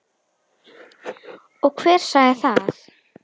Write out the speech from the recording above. Og hver sagði það?